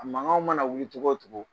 A mankanw mana wuli togo o togo